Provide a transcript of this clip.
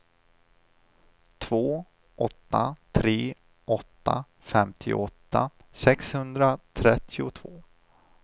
två åtta tre åtta femtioåtta sexhundratrettiotvå